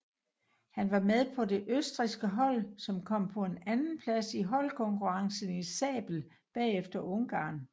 Han var med på det østrigske hold som kom på en andeplads i holdkonkurrencen i sabel bagefter Ungarn